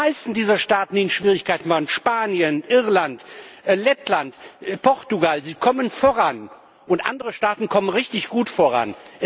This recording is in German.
Die meisten dieser Staaten, die in Schwierigkeiten waren Spanien, Irland, Lettland, Portugal kommen voran, und andere Staaten kommen richtig gut voran.